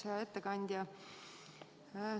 Hea ettekandja!